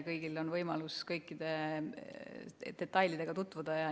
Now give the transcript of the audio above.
Kõigil on võimalus kõikide detailidega tutvuda.